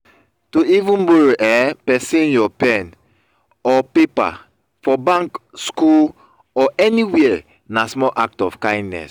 to even borrow um persin your pen or paper for bank school or anywhere na small act of kindness